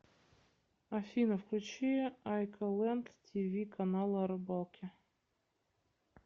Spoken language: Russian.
афина включи айколэнд ти ви канала о рыбалке